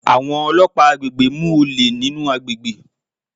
Àwọn ọlọ́pàá àgbègbè mú olè nínú àgbègbè.